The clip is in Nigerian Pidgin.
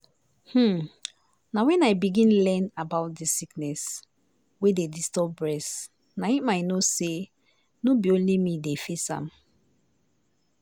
hmm na when i begin learn about dis sickness wey dey disturb bress na im i know say no be only me dey face am.